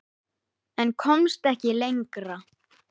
En komst ekki lengra.